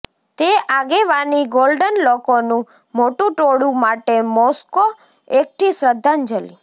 તે આગેવાની ગોલ્ડન લોકોનું મોટું ટોળું માટે મોસ્કો એકઠી શ્રદ્ધાંજલિ